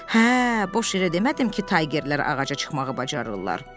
Hə, boş yerə demədim ki, Taygerlər ağaca çıxmağı bacarırlar.